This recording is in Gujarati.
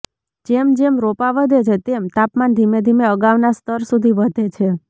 જેમ જેમ રોપા વધે છે તેમ તાપમાન ધીમે ધીમે અગાઉના સ્તર સુધી વધે છે